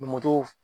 Moto